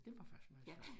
Det var faktisk meget sjovt